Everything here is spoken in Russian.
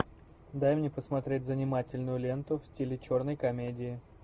дай мне посмотреть занимательную ленту в стиле черной комедии